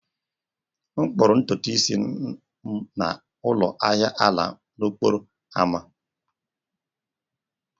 M kpụrụ ntutu isi m na ụlọ ahia ala n'okporo ámá